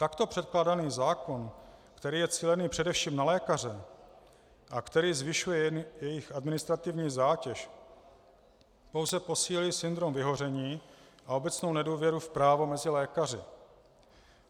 Takto předkládaný zákon, který je cílený především na lékaře a který zvyšuje jejich administrativní zátěž, pouze posílí syndrom vyhoření a obecnou nedůvěru v právo mezi lékaři.